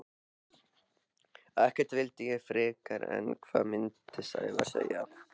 Ekkert vildi ég frekar en hvað myndi Sævar segja?